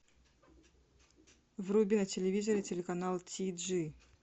вруби на телевизоре телеканал ти джи